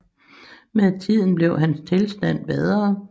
Med tiden blev hans tilstand bedre